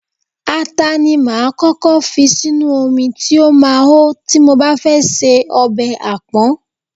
Ata ni máa ń kọ́kọ́ fi sínú omi tí ó máa hó tí mo bá fẹ́ se ọbẹ̀ apon.